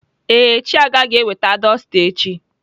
Ee, Chiaga ga-eweta dọsta echi.